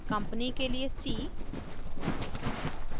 company के लिए c